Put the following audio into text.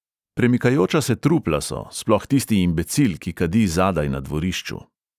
Premikajoča se trupla so, sploh tisti imbecil, ki kadi zadaj na dvorišču.